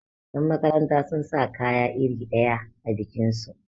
yanmakaranta sun sa kaya iri ɗaya a bikinsu